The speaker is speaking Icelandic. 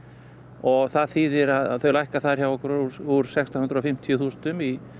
og það þýðir að þau lækka þar hjá okkur úr úr sextán hundruð og fimmtíu þúsundum í